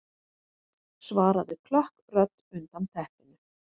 svaraði klökk rödd undan teppinu.